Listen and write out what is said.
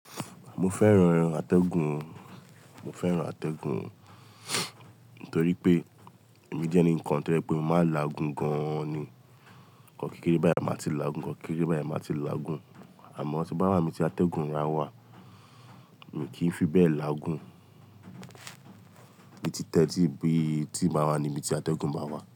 Mo fẹ́ran àtẹ̀gùn, mo fẹ́ran àtẹ̀gùn nítorí pé èmi jẹ́ ẹnikan tó jẹ pé mo máa n láagun gan-an ni. Ǹkan kékeré báyìí máa ti láagun gan, kékeré beyen máa ti laágun. Àmọ́ tí n bá wá nibi tí àtẹ̀gùn rà wá, mi i kì í fi bẹ́ẹ̀ láagun. Èmi ti tẹ́tí bí tí màá wá níbi tí àtẹ̀gùn báa wà.